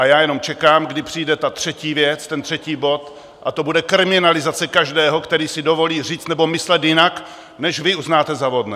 A já jenom čekám, kdy přijde ta třetí věc, ten třetí bod, a to bude kriminalizace každého, který si dovolí říct nebo myslet jinak, než vy uznáte za vhodné.